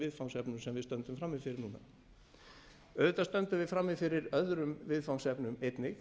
viðfangsefnum sem við stöndum frammi fyrir nú auðvitað stöndum við frammi fyrir öðrum viðfangsefnum einnig